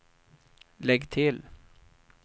lägg till